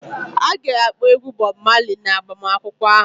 A ga-akpọ egwu Bob Marley na agbamakwụkwọ ahụ